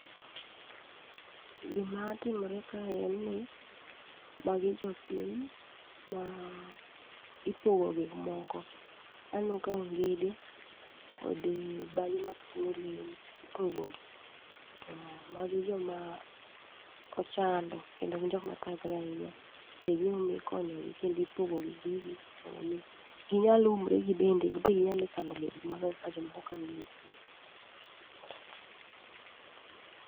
Gima timore kae en ni magi jopiny ma ipogo gik moko. Aneno ka ongede kodi bage mag ting'o lewni, ipogo gi. To magi joma ochando kendo gin jokma thagre ahinya. Be e gimomiyo ikonyogi kendipogogi gigi mondo mi ginyal umre gibende. Gimbe ginyale kano lepgi maber kaka jomoko kano lepgi.